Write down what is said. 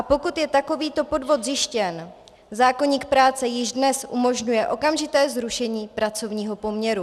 A pokud je takovýto podvod zjištěn, zákoník práce již dnes umožňuje okamžité zrušení pracovního poměru.